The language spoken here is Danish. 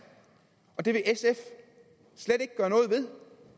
og det vil